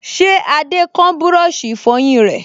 Ṣé Adé kán búrọ̀sì ìfọyín rẹ̀?